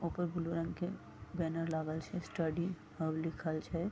ऊपर ब्लू रंग के बैनर लागल छे स्टडी हब लिखल छे।